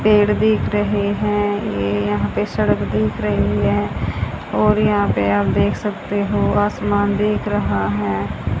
पेड़ दिख रहे हैं। यह यहां पर सड़क दिख रही है और यहां पर आप देख सकते हो आसमान दिख रहा है।